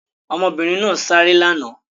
Ọmọbìnrin náà sáré lánàá?